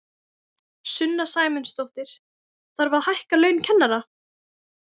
Sunna Sæmundsdóttir: Þarf að hækka laun kennara?